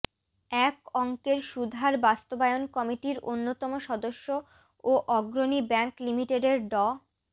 এক অঙ্কের সুদহার বাস্তবায়ন কমিটির অন্যতম সদস্য ও অগ্রণী ব্যাংক লিমিটেডের ড